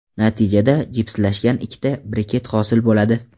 Natijada jipslashgan ikkita briket hosil bo‘ladi.